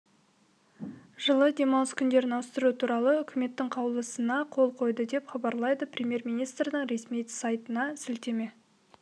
жылы демалыс күндерін ауыстыру туралы үкіметінің қаулысына қол қойды деп хабарлайды премьер-министрдің ресми сайтына сілтеме